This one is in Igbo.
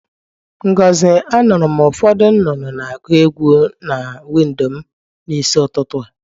Ngozi, anuru m ufodu nnụnụ na-agu egwu na windo m n'isi ututu a.